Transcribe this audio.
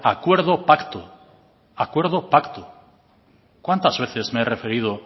acuerdo pacto cuántas veces me he referido